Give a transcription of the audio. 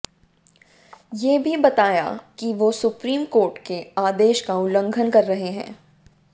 ये भी बताया कि वो सुप्रीम कोर्ट के आदेश का उल्लंघन कर रहे हैं